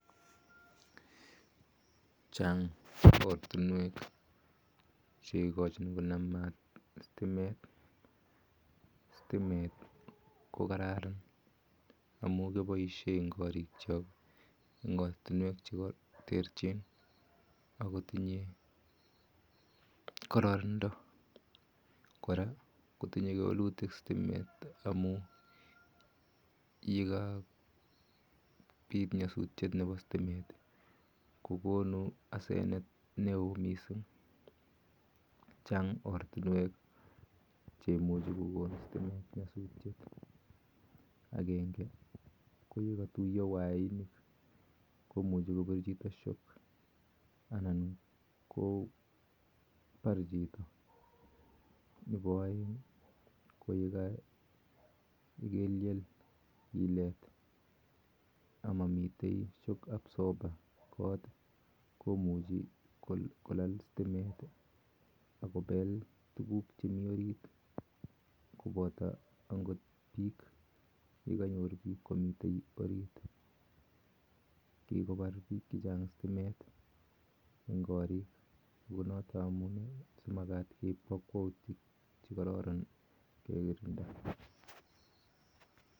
Chaang ortunweek cheimuchii konam stimeet eng ortunweek cheterchiin koraa kotinyee kewelutik chaang ortunweek cheimuchii kokon oreet anan kopar chito nepo aeek ko ya kelyeel komuchii kopel tuguuk chemiteii orit kikopar piik chechang stimet eng karriik kwak